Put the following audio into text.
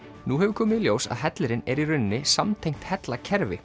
nú hefur komið í ljós að hellirinn er í rauninni samtengt